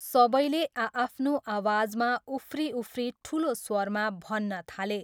सबैले आआफ्नो आवाजमा उफ्रीउफ्री ठुलो स्वरमा भन्न थाले।